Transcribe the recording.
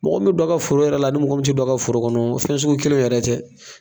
Mɔgɔ min bɛ don a ka foro yɛrɛ la a ni mɔgɔ min tɛ don a ka foro kɔnɔ fɛn sugu kelen yɛrɛ tɛ.